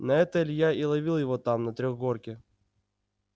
на это илья и ловил его там на трёхгорке